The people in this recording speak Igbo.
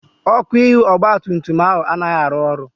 Ọ́kụ́ ihu ọgbatumtum ahụ anaghị arụ ọrụ.